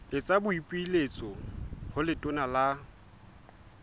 etsa boipiletso ho letona la